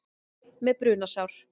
Einn með brunasár